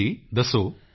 ਜੀ ਜੀ ਦੱਸੋ